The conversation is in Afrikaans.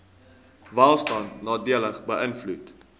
welstand nadelig beïnvloed